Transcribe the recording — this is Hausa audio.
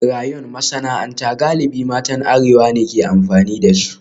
Rayon masana'anta galibi matan arewa ne ke amfani da su